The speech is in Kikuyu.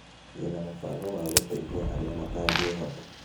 Ndĩna mũbango wa gũteĩthĩa arĩa matangĩĩhota.